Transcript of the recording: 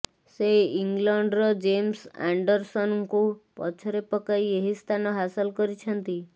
ସେ ଇଂଲଣ୍ଡର ଜେମ୍ସ ଆଣ୍ଡରସନଙ୍କୁ ପଛରେ ପକାଇ ଏହି ସ୍ଥାନ ହାସଲ କରିଛନ୍ତି